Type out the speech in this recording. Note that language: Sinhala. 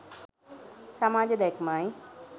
සමාජ දැක්මයි